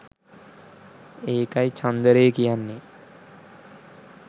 ඒකයි චන්දරේ කියන්නෙ